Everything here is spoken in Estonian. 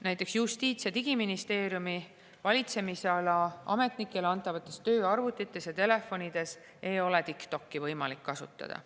Näiteks Justiits- ja Digiministeeriumi valitsemisala ametnikele antavates tööarvutites ja telefonides ei ole TikTokki võimalik kasutada.